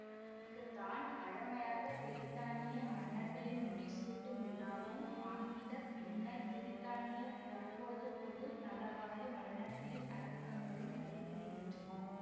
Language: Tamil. இங்கு தான் வழமையாக பிரித்தானிய மன்னர்களின் முடி சூட்டும் விழாவும் ஆங்கில பின்னர் பிரித்தானிய தற்போது பொதுநலவாய மன்னர்களின் அடக்கங்களும் நடைபெறுகின்றன